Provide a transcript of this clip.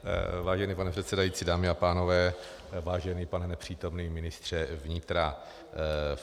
Vážený pane předsedající, dámy a pánové, vážený pane nepřítomný ministře vnitra.